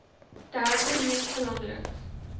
derde mees belangrike